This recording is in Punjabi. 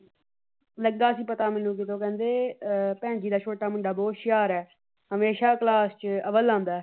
ਲੱਗਾ ਸੀ ਪਤਾ ਜਦੋਂ ਮੈਨੂੰ ਕਹਿੰਦੇ ਭੈਣ ਜੀ ਦਾ ਛੋਟਾ ਮੁੰਡਾ ਬਹੁਤ ਹੁਸ਼ਿਆਰ ਹੈ। ਹਮੇਸ਼ਾ ਕਲਾਸ ਚ ਅਵੱਲ ਆਉਂਦਾ ਹੈ।